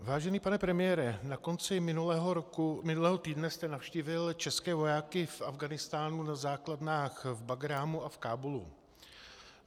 Vážený pane premiére, na konci minulého týdne jste navštívil české vojáky v Afghánistánu na základnách v Bagrámu a v Kábulu.